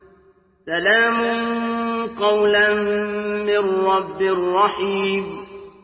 سَلَامٌ قَوْلًا مِّن رَّبٍّ رَّحِيمٍ